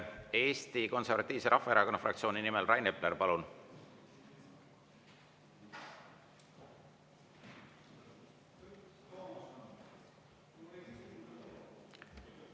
Eesti Konservatiivse Rahvaerakonna fraktsiooni nimel Rain Epler, palun!